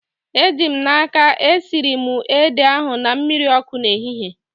Eji m n'aka, esiri m ede ahu na mmiri ọkụ n'ehihie